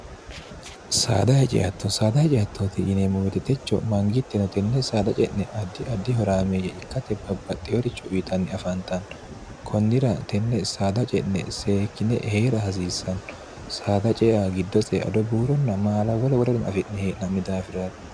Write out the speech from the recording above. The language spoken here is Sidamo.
saada heceatto saada hece attooti yinemmumititecho mangiitteno tenne saada ce'ne addi addi horaameeyye ikkate babbaxxeyoricho uyitanni afaantanno kunnira tenne saada ce'ne seekkine hee'ra hasiissanno saada ceea giddoseeado buuronna maala wole worerin afi'ne hee'nanni daafiraati